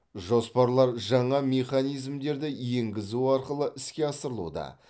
жоспарлар жаңа механизмдерді енгізу арқылы іске асырылуда